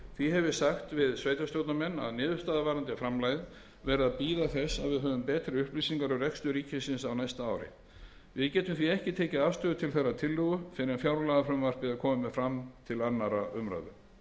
því hef ég sagt við sveitarstjórnarmenn að niðurstaða varðandi framlagið verði að bíða þess að við höfum betri upplýsingar um rekstur ríkisins á næsta ári við getum því ekki tekið afstöðu til þessarar tillögu fyrr en fjárlagafrumvarpið er komið til annarrar umræðu herra